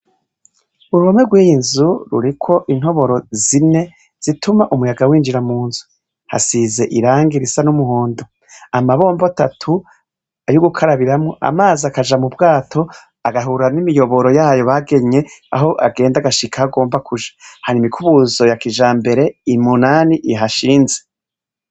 uruhome rwiy'inzu ruriko intoboro zine zituma umuyaga w'injira mu nzu hasize irangi risa n'umuhondo amabombo atatu ay'ugukarabiramwo amazi akaja mu bwato agahura n'imiyoboro yayo bagenye aho agenda gashika agomba kuja hari imikubuzo ya kijambere umunani ihashinze